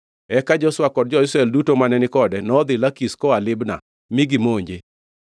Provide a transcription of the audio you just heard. Eka Joshua kod jo-Israel duto mane ni kode nodhi Lakish koa Libna; mi gimonje.